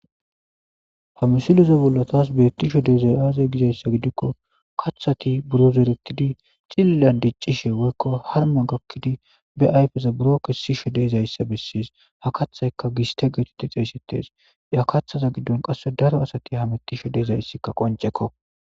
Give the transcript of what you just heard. Ha missileza bolla tasi bettishe diizay aaze giiko kaththsti buuro zerettidi ciililan diccishe woykko harmma gakkidi be ayffeza buro kessishe de'es ha kaththaykka giistte getteti xeyssetes qasse daaro assati hammetishe diizayssika qonccekko.